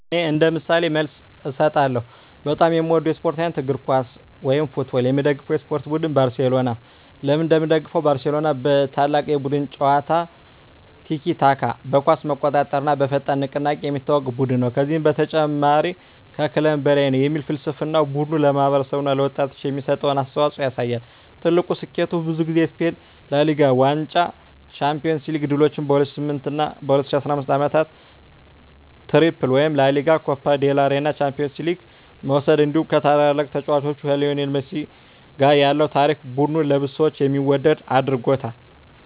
እኔ እንደ ምሳሌ መልስ እሰጣለሁ፦ በጣም የምወደው የስፖርት አይነት: እግር ኳስ (Football) የምደግፈው የስፖርት ቡድን: ባርሴሎና (FC Barcelona) ለምን እንደምደግፈው: ባርሴሎና በታላቅ የቡድን ጨዋታ (tiki-taka)፣ በኳስ መቆጣጠር እና በፈጣን ንቅናቄ የሚታወቅ ቡድን ነው። ከዚህ በተጨማሪ “Mes que un club” (ከክለብ በላይ) የሚል ፍልስፍናው ቡድኑ ለማህበረሰብ እና ለወጣቶች የሚሰጠውን አስተዋፅኦ ያሳያል። ትልቁ ስኬቱ: ብዙ ጊዜ የስፔን ላ ሊጋ ዋንጫ የUEFA ቻምፒዮንስ ሊግ ድሎች በ2009 እና 2015 ዓመታት “ትሪፕል” (ላ ሊጋ፣ ኮፓ ዴል ሬይ፣ ቻምፒዮንስ ሊግ) መውሰድ እንዲሁ ከታላቁ ተጫዋች ሊዮኔል ሜሲ ጋር ያለው ታሪክ ቡድኑን ለብዙ ሰዎች የሚወደድ አድርጎታል።